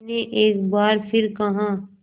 मैंने एक बार फिर कहा